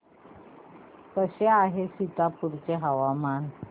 कसे आहे सीतापुर चे हवामान